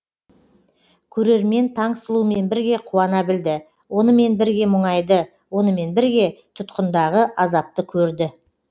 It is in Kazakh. көрермен таңсұлумен бірге қуана білді онымен бірге мұңайды онымен бірге тұтқындағы азапты көрді